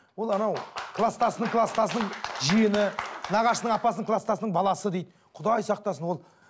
ол анау кластасының кластасының жиені нағашының апасының кластасының баласы дейді құдай сақтасын ол